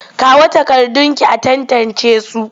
Kawo takardunki a tantancesu!